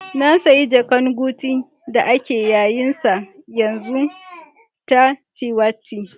Na siya jaka'n guci da ake yayen sa yanzu ta tiwitta.